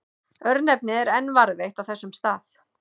Örnefnið er enn varðveitt á þessum stað.